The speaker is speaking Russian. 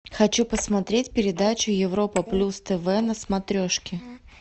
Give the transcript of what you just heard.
хочу посмотреть передачу европа плюс тв на смотрешке